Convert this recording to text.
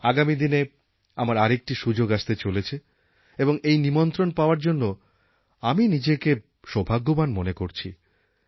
আগামী দিনে আমার আর একটি সুযোগ আসতে চলেছে এবং এই নিমন্ত্রণ পাওয়ার জন্য আমি নিজেকে সৌভাগ্যবান মনে করছি